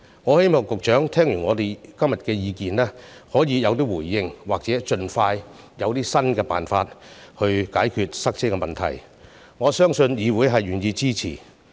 我希望局長對我們今天的意見可以有所回應，或盡快提出新的辦法來解決塞車問題，我相信議會是願意支持的。